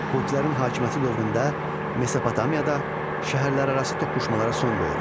Kutilərin hakimiyyəti dövründə Mesopotamiyada şəhərlərarası toqquşmalara son qoyulmuşdu.